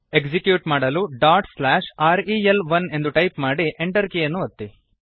execute ಮಾಡಲು rel1 dot slash r e l one ಎಂದು type ಮಾಡಿ Enter ಕೀಯನ್ನು ಒತ್ತಿ